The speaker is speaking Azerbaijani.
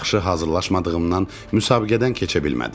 Yaxşı hazırlaşmadığımdan müsabiqədən keçə bilmədim.